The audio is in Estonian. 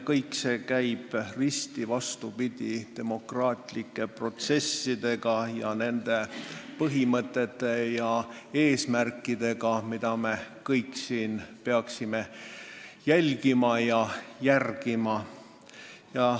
See käib risti vastupidi demokraatlike protsesside põhimõtetele ja eesmärkidele, mida me kõik siin peaksime silmas pidama.